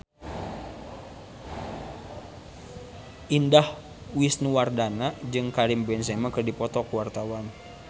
Indah Wisnuwardana jeung Karim Benzema keur dipoto ku wartawan